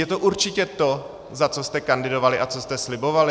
Je to určitě to, za co jste kandidovali a co jste slibovali?